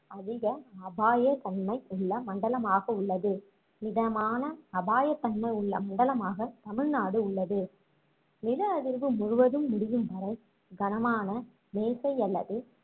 அதிக அபாய தன்மை உள்ள மண்டலமாக உள்ளது மிதமான அபாய தன்மை உள்ள மண்டலமாக தமிழ்நாடு உள்ளது நில அதிர்வு முழுவதும் முடியும் வரை கனமான மேசை அல்லது